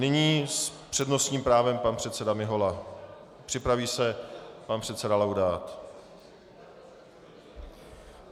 Nyní s přednostním právem pan předseda Mihola, připraví se pan předseda Laudát.